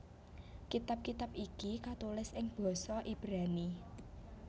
Kitab kitab iki katulis ing basa Ibrani